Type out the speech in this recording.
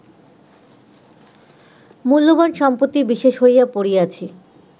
মূল্যবান সম্পত্তি বিশেষ হইয়া পড়িয়াছি